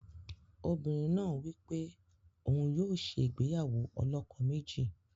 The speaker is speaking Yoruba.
Obìnrin náà wí pé òun yóò ṣe ìgbéyàwó ọlọ́kọ méjì.